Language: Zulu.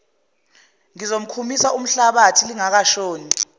ngizomkhumisa umhlabathi lingakashoni